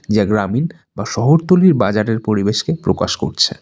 যা গ্রামীণ বা শহরতলীর বাজারের পরিবেশকে প্রকাশ করছে।